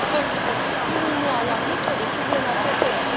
Pentru că Consiliul nu a luat nicio decizie în acest sens.